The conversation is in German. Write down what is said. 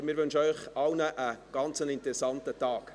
Wir wünschen Ihnen einen sehr interessanten Tag.